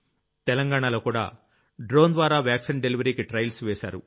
తెలంగాణలోకూడా drone ద్వారా vaccine డెలివరీకి trials వేశారు